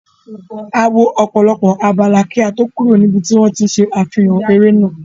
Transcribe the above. A wọ ọ̀pọ̀lọpọ̀ abala kí á to kúrò ní ibi tí wón ti ń ṣe àfihàn eré náà.